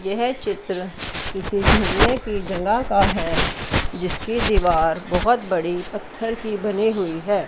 यह चित्र किसी की जगह का है जिसकी दीवार बहोत बड़ी पत्थर की बनी हुई है।